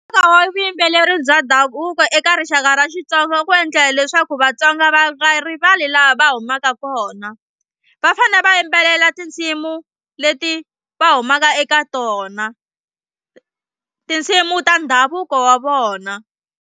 Nkoka wa vuyimbeleri bya ndhavuko eka rixaka ra Xitsonga ku endla leswaku Vatsonga va nga rivali laha va humaka kona. Va fanele va yimbelela tinsimu leti va humaka eka tona tinsimu ta ndhavuko wa vona.